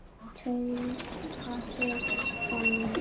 tautaði Svenni.